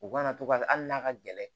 U kana to ka hali n'a ka gɛlɛn